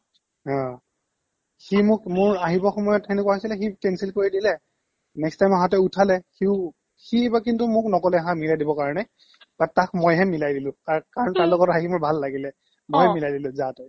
হা সি মোক মোৰ আহিবৰ সময়্ত সেনেকুৱা হৈছিলে সি কৰি দিলে next time আহাতে উঠালে সিও সি ইবাৰ কিন্তু মোক নক'লে হা মিলাই দিবৰ কাৰণে তাক মইহে মিলাই দিলো কা কাৰণ তাৰ লগত আহি মোৰ ভাল লাগিলে অ মই মিলাই দিলো যা তই